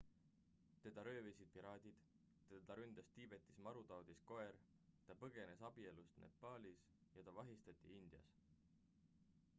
teda röövisid piraadid teda ründas tiibetis marutaudis koer ta põgenes abielust nepaalis ja ta vahistati indias